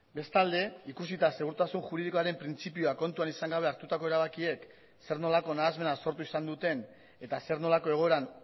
bestalde ikusita segurtasun juridikoaren printzipioa kontuan izan gabe hartutako erabakiek zer nolako nahasmena sortu izan duten eta zer nolako egoeran